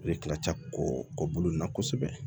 I bɛ kila kɔ kɔbolo in na kosɛbɛ